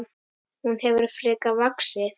Hún hefur frekar vaxið.